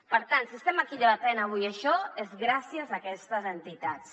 per tant si estem avui aquí debatent això és gràcies a aquestes entitats